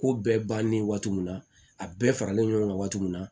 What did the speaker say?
Ko bɛɛ bannen waati min na a bɛɛ faralen ɲɔgɔn kan waati min na